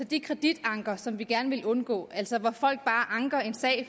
de kreditanker som vi gerne vil undgå altså hvor folk bare anker en sag